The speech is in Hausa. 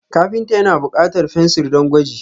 Kafinta ya na bukatar fensir don gwaji.